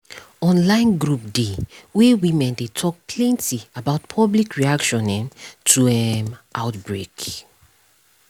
online group dey wey women dey talk plenty about public reaction um to um outbreak